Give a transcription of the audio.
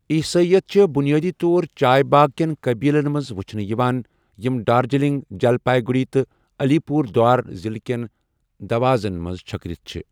عیسٲئیت چھِ بنیٲدی طور چائے باغ کٮ۪ن قٔبیٖلن منٛز وُچھنہٕ یِوان یِم دارجلنگ، جلپائی گٗڑی تہٕ علی پوٗردوار ضلعہٕ کٮ۪ن دوازن منٛز چھكرِتھ چھِ ۔